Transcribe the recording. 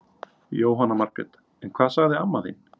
Jóhanna Margrét: En hvað sagði amma þín?